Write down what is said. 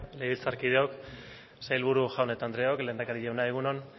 legebiltzarkideok sailburu jaun eta andreok lehendakari jauna egun on